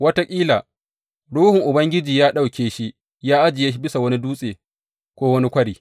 Wataƙila, Ruhun Ubangiji ya ɗauke shi ya ajiye bisa wani dutse, ko wani kwari.